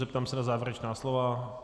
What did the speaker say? Zeptám se na závěrečná slova.